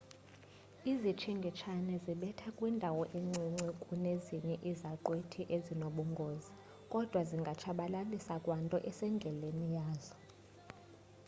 izitshingitshane zibetha kwindawo encinci kunezinye izaqhwithi ezinobungozi kodwa zingatshabalalisa kwanto esendleleni yazo